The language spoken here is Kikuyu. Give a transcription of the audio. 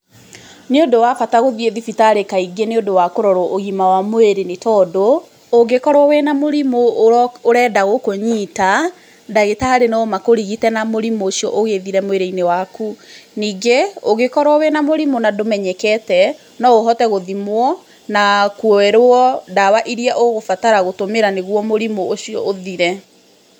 Nĩ ũndũ wa bata wa gũthiĩ thibitarĩ kaingĩ nĩ ũndũ wa ũgima wa mwĩrĩ nĩ tondũ, ũngĩ korwo wĩna mũrimũ ũrenda gũkũnyita ndagĩtarĩ no makũrigite na mũrimũ ũcio ũgĩthire mwĩrĩinĩ waku, ningĩ ũngĩ korwo na mũrimũ na ndũmenyekete no ũhote gũthimwo na kwĩrwo ndawa iria ũgũbatara gũtũmĩra nĩguo mũrimũ ũcio ũthire.